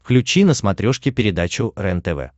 включи на смотрешке передачу рентв